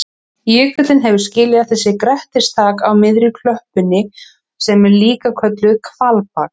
Jökullinn hefur skilið eftir sig grettistak á miðri klöppinni sem er líka kölluð hvalbak.